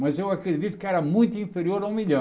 Mas eu acredito que era muito inferior a um milhão.